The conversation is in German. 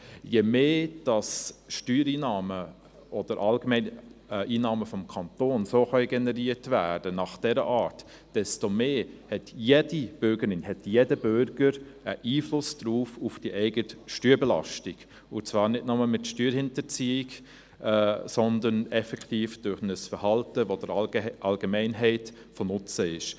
Je mehr Steuereinnahmen oder allgemein Einnahmen des Kantons in dieser Art generiert werden können, desto mehr hat jede Bürgerin und jeder Bürger einen Einfluss auf die eigene Steuerbelastung, und zwar nicht nur mit Steuerhinterziehung, sondern effektiv durch ein Verhalten, das der Allgemeinheit von Nutzen ist.